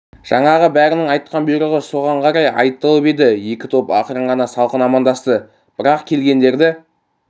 жаңағы бәрінің айтқан бұйрығы соған қарай айтылып еді екі топ ақырын ғана салқын амандасты бірақ келгендерді